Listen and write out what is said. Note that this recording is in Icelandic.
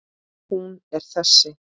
Hún er þessi